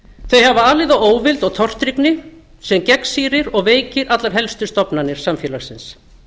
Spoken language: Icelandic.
hafa alið á óvild og tortryggni sem gegnsýrir og veikir allar helstu stofnanir samfélagsins